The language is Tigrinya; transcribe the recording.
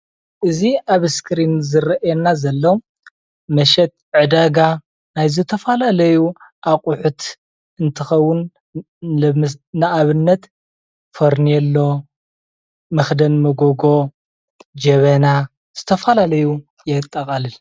እዚ ኣብ መስክሪን ዝረአየና ዘሎ መሸጢ ዕዳጋ ናይ ዝተፈላለዩ ኣቑሑት እንትኸውን ፤ለሞስ ንኣብነት ፈርኔሎ፣ መኽደን መጎጎ፣ ጀበና ዝተፈላለዩ የጠቓልል።